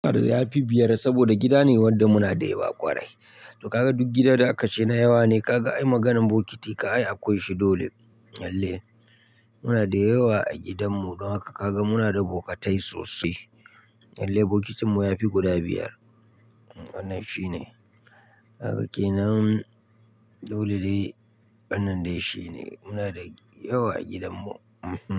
Yafi biyar saboda gida ne wanda muna da yawa ƙwarai. To ka ga duk gidan da aka ce na yawa ne, ka ga ai maganan bokiti ka ai akwai shi dole. Lallai muna da yawa a gidanmu don haka ka ga muna da bokatai sosai. Lallai bokitinmu ya fi guda biyar. Wannan shine. Kaga kenan dole ne wannan dai shine. Muna da yawa a gidanmu.